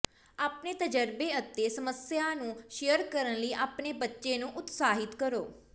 ਆਪਣੇ ਤਜਰਬੇ ਅਤੇ ਸਮੱਸਿਆ ਨੂੰ ਸ਼ੇਅਰ ਕਰਨ ਲਈ ਆਪਣੇ ਬੱਚੇ ਨੂੰ ਉਤਸ਼ਾਹਿਤ ਕਰੋ